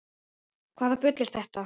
Hvaða bull er þetta?